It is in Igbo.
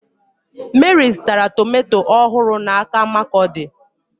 Meri zụtara tomato ọhụrụ n'aka Markurdi.